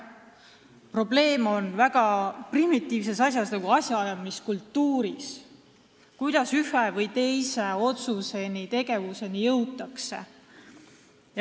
Probleem on sellises väga primitiivses asjas nagu asjaajamise kultuuris – kuidas ühe või teise otsuseni, tegevuseni jõutakse.